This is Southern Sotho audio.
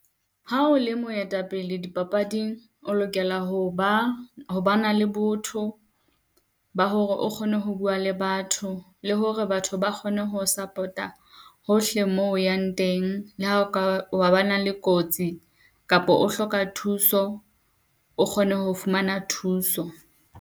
Ha o le moetapele di papading, o lokela ho ba, ho ba na le botho ba hore o kgone ho bua le batho, le hore batho ba kgone ho support-a hohle moo o yang teng. Le ha o ka ba na le kotsi kapo o hloka thuso, o kgone ho fumana thuso.